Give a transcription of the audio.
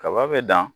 Kaba be dan